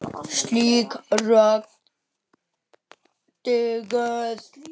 Slík rök dugðu.